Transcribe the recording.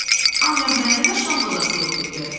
Ancaq məndə də şam qozası yox idi.